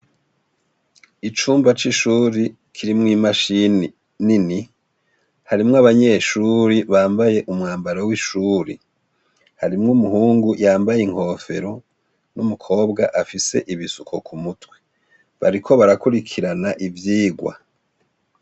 Icumba c'ishuri, kirimwo imashini nini, harimwo abanyeshure bambaye umwambaro w'ishuri, harimwo umuhungu yambaye inkofero n'umukobwa afise ibisuko ku mutwe, bariko barakurikirana ivyigwa.